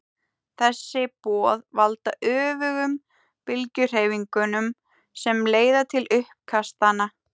þessi boð valda öfugum bylgjuhreyfingunum sem leiða til uppkastanna